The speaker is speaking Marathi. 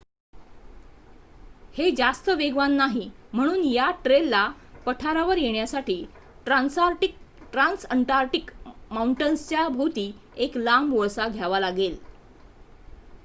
हे जास्त वेगवान नाही म्हणून या ट्रेलला पठारावर येण्यासाठी ट्रान्सअंटार्क्टिक माऊंटन्सच्या भोवती एक लांब वळसा घ्यावा लागेल